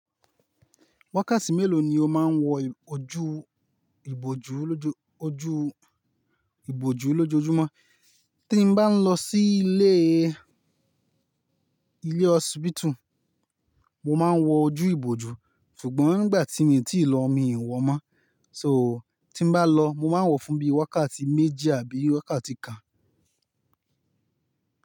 Wákàtí mélòó ni o máa ń wọ ojú ìbojú lójoo oju, iboju lojoojúmọ́? Tí n bá ń lọ sí ilé, ilé hospital, mo máa ń wọ ojú ìbojú, ṣùgbọ́n nígbà tí mii tíì lọ, mi i wọ mọ́. So tí n bá lọ, mo máa ń wọ fún bí i wákàtí méjì àbí wákàtí kan.